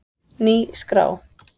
Ný skrá